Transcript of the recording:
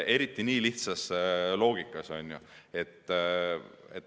Eriti nii lihtsas loogikas.